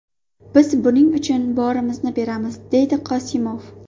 Biz buning uchun borimizni beramiz”, − dedi Qosimov.